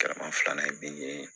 Kɛlɛma filanan bi ye